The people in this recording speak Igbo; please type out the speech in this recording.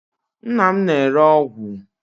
Nna m na-ere ọgwụ.